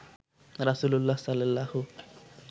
রাসূলুল্লাহ সাল্লাল্লাহু